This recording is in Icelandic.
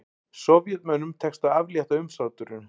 Sovétmönnum tekst að aflétta umsátrinu